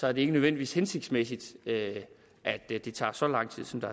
er det ikke nødvendigvis hensigtsmæssigt at at det tager så lang tid som det